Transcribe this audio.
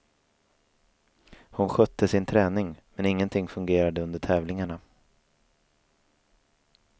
Hon skötte sin träning, men ingenting fungerade under tävlingarna.